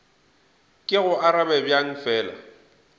ke go arabe bjang fela